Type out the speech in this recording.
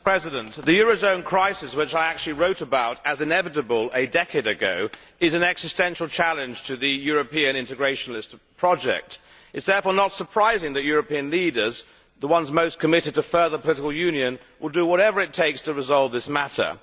Mr President, the eurozone crisis which I actually wrote about as inevitable a decade ago is an existential challenge to the European integrationalist project. It is therefore not surprising that European leaders the ones most committed to further political union will do whatever it takes to resolve this matter.